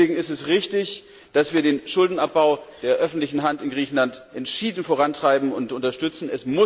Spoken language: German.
Deswegen ist es richtig, dass wir den Schuldenabbau der öffentlichen Hand in Griechenland entschieden vorantreiben und unterstützen.